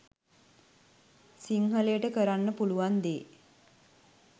සිංහලයට කරන්න පුළුවන් දේ